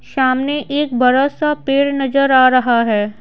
सामने एक बड़ा सा पेड़ नजर आ रहा है।